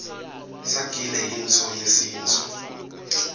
sagile yintfo yesintfu